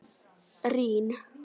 Rín